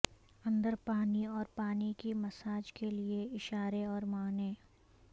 اندر پانی اور پانی کی مساج کے لئے اشارے اور معنوں